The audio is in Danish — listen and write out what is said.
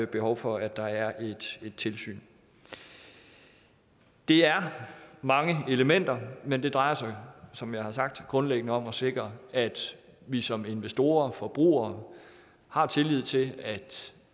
behov for at der er et tilsyn det er mange elementer men det drejer sig som jeg har sagt grundlæggende om at sikre at vi som investorer forbrugere har tillid til at